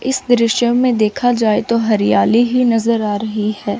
इस दृश्य में देख जाए तो हरियाली ही नजर आ रही है।